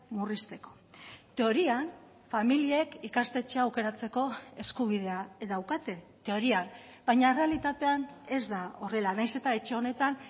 murrizteko teorian familiek ikastetxea aukeratzeko eskubidea daukate teorian baina errealitatean ez da horrela nahiz eta etxe honetan